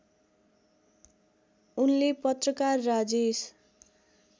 उनले पत्रकार राजेश